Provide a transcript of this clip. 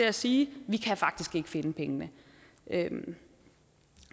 at sige vi kan faktisk ikke finde pengene